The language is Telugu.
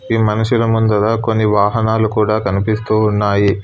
ఈ మనుషుల ముందుగా కొన్ని వాహనాలు కూడా కనిపిస్తూ ఉన్నాయి.